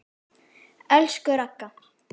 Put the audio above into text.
Elsku Ragga.